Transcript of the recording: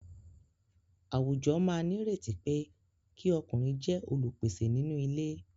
Àwùjọ máa nírètí pé kí ọkùnrin jẹ́ olùpèsè nínú ilé.